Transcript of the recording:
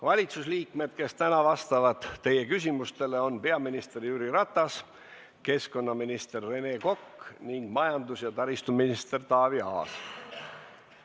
Valitsusliikmed, kes täna vastavad teie küsimustele, on peaminister Jüri Ratas, keskkonnaminister Rene Kokk ning majandus- ja taristuminister Taavi Aas.